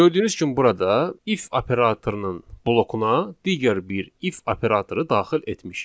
Gördüyünüz kimi burada if operatorunun blokuna digər bir if operatoru daxil etmişik.